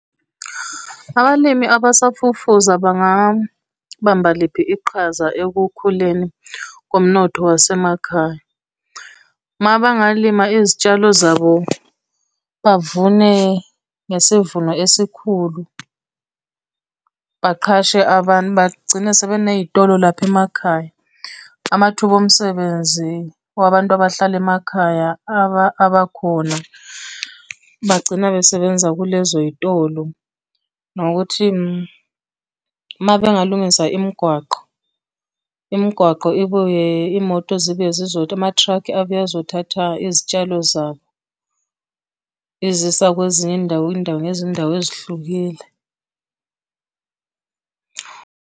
Abalimi abasafufusa bangabamba liphi iqhaza ekukhuleni komnotho wasemakhaya? Uma bangalima izitshalo zabo bavune ngesivuno esikhulu. Baqhashe abantu bagcine sebeney'tolo lapha emakhaya, amathuba omsebenzi wabantu abahlala emakhaya, abakhona bagcina besebenza kulezoy'tolo nokuthi, uma bengalungisa imigwaqo. Imigwaqo ibuye iy'moto ama-truck abuye azothatha izitshalo zabo, izisa, kwezinye izindawo, indawo ngezindawo ezihlukile.